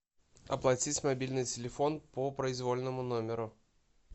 оплатить мобильный телефон по произвольному номеру